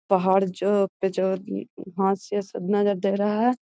पहाड़ जो पे ज वहां से सब नजर दे रहा है।